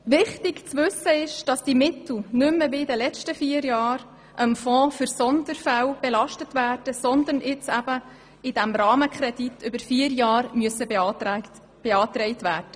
Anders als in den letzten vier Jahren werden diese Mittel nicht mehr dem Fonds für Sonderfälle belastet, sondern müssen zulasten des vorliegenden, vierjährigen Rahmenkredits beantragt werden.